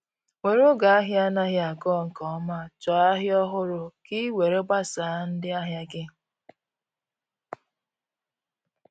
were oge ahia anaghi aga nke ọma chọọ ahịa ọhụrụ ka ị were gbasaa ndị ahịa gị.